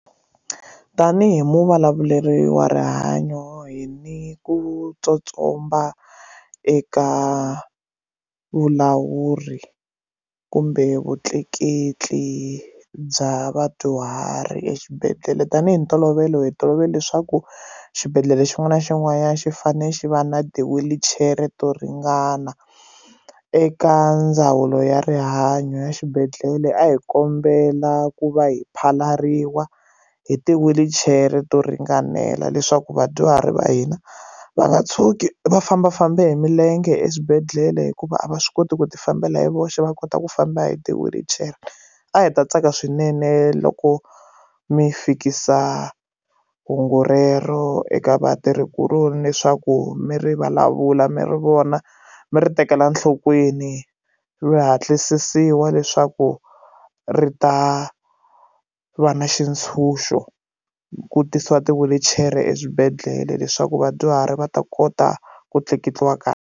Tanihi hi muvulavuleri wa rihanyo hi ni ku tsotsomba eka vulawuri kumbe vutleketli bya vadyuhari exibedhlele tanihi ntolovelo hi tolovela leswaku xibedhlele xin'wana na xin'wanyana xi fane xi va na ti wheelchair to ringana eka ndzawulo ya rihanyo ya xibedhlele a hi kombela ku va hi phalariwa hi ti wheelchair to ringanela leswaku vadyuhari va hina va nga tshuki va fambafamba hi milenge eswibedhlele hikuva a va swi koti ku ti fambela hi voxe va kota ku famba hi ti wheelchair a hi ta tsaka swinene loko mi fikisa hungu rero eka vatirhi kuloni leswaku mi ri vulavula mi ri vona mi ri tekela enhlokweni swi hatlisisa i wa leswaku ri ta va na xitshunxo ku tisiwa ti wheelchair eswibedhlele leswaku vadyuhari va ta kota ku tleketliwa kahle.